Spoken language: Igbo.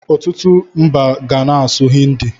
Ọtụtụ mba ga na-asụ Hindi.